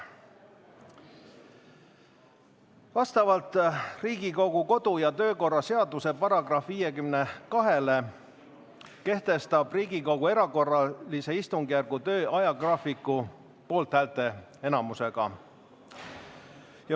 Vastavalt kodu- ja töökorra seaduse §-le 52 kehtestab Riigikogu erakorralise istungi töö ajagraafiku poolthäälteenamusega.